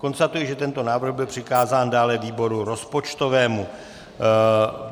Konstatuji, že tento návrh byl přikázán dále výboru rozpočtovému.